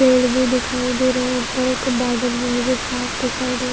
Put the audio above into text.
पेड़ भी दिखाई दे रहे है ऊपरो के बादल भी मुझे साफ़ दिखाई दे रहा है।